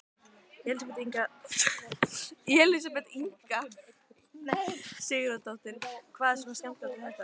Elísabet Inga Sigurðardóttir: Hvað er svona skemmtilegt við þetta?